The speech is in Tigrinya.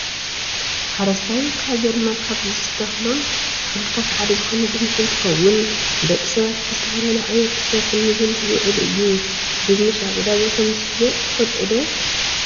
ሓረስታይ ሃገርና ካብ ዝተክሎም ተክልታት ሓደ ዝኮነ ድንሽ እንትከውን ንደቂ ሰባት ብዝተፈላለዩ ዓይነት ተሰሪሑ ንምግብነት ዝውዕል እዩ። ድንሽ ኣብ ዕዳጋ ከምዝሽየጥ ትፈልጡ ዶ?